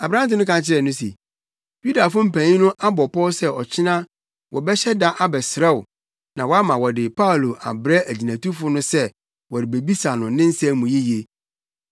Aberante no ka kyerɛɛ no se, “Yudafo mpanyin no abɔ pɔw sɛ ɔkyena wɔbɛhyɛ da abɛsrɛ wo na woama wɔde Paulo abrɛ agyinatufo no sɛ wɔrebebisa no ne nsɛm no mu yiye.